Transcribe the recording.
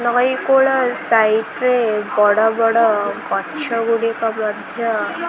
ନଈ କୂଳ ସାଇଡ୍ ରେ ବଡ଼ ବଡ଼ ଗଛ ଗୁଡ଼ିକ ମଧ୍ୟ--